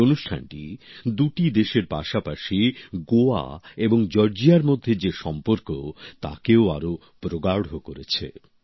এই অনুষ্ঠানটি দুটি দেশের পাশাপাশি গোয়া এবং জর্জিয়ার মধ্যে যে সম্পর্ক তাকেও আরো প্রগাঢ় করেছে